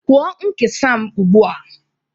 Kwụọ nkesa m ugbu a